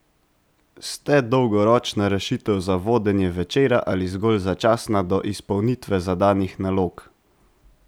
Ste dolgoročna rešitev za vodenje Večera ali zgolj začasna do izpolnitve zadanih nalog?